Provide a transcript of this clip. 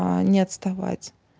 не отставать